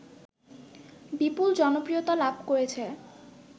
বিপুল জনপ্রিয়তা লাভ করেছে